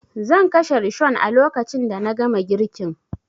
Zan kashe rishon a lokacin da na gama girkin